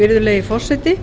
virðulegi forseti